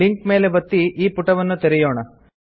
link ಮೇಲೆ ಒತ್ತಿ ಈ ಪುಟವನ್ನು ತೆರೆಯೊಣ